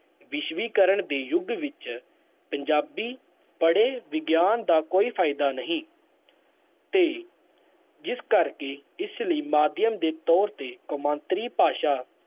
ਵਿਸ਼ਵੀਕਰਨ ਦੇ ਯੁੱਗ ਵਿੱਚ ਪੰਜਾਬੀ ਪੜ੍ਹੇ ਵਿਗਿਆਨ ਦਾ ਕੋਈ ਫ਼ਾਇਦਾ ਨਹੀਂ ਤੇ ਜਿਸ ਕਰਕੇ ਇਸ ਲਈ ਮਾਧਿਅਮ ਦੇ ਤੌਰ ਤੇ ਕੌਮਾਂਤਰੀ ਭਾਸ਼ਾ